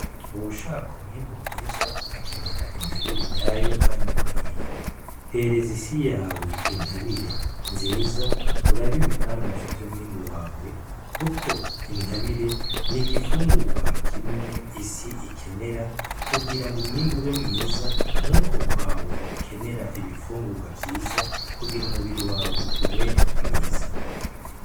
Uwushaka umwimbu mwiza akenera intabire nyayo, kandi ikwiye hereza isi yawe intabire nziza urabe ibitangaza vy'umwimbu wawe, kuko intabire ni igifungurwa kimwe isi ikenera kugira ngo umwimbu be mwiza nk'uko kwawe ukenera ibifungurwa vyiza kugira umubiri wawe ube mwiza.